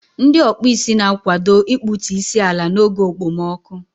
Ndị ọkpụ isi na-akwado ịkpụtu isi ala n'oge okpomọkụ.